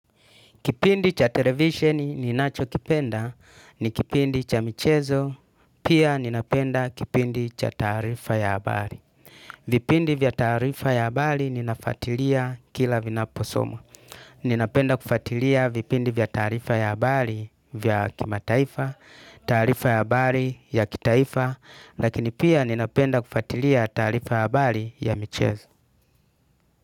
Kipindi cha televisheni ninacho kipenda ni kipindi cha michezo pia ninapenda kipindi cha taarifa ya habari. Vipindi vya taarifa ya habari ninafuatilia kila vinaposomwa. Ninapenda kufuatilia vipindi vya taarifa ya habari vya kimataifa taarifa ya habari ya kitaifa lakini pia ninapenda kufuatilia taarifa ya habari ya michezo.